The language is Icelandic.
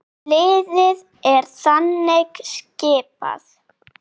Liðið er þannig skipað